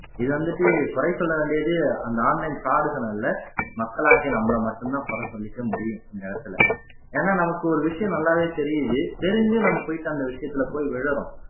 இது வந்துட்டு குறை சொல்ல வேண்டியது அந்த online fraud கள் அல்ல மக்களாகிய நம்மளை மட்டும்தான் குறை சொல்லிக்க முடியும் இந்த இடத்துல ஏன்னா நமக்கு ஒரு விஷயம் நல்லாவே தெரியுது தெரிஞ்சும் நம்ம போயிட்டு அந்த விஷயத்துல போய் விழறோம்